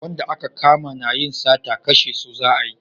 Wanda a ka kama na yin sata kashe su za a yi